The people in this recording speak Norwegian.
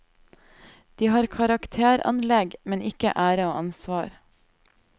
De har karakteranlegg, men ikke ære og ansvar.